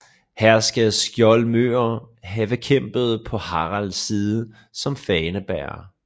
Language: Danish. Her skal skjoldmøer have kæmpet på Haralds side som fanebærere